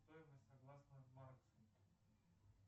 стоимость согласно марксу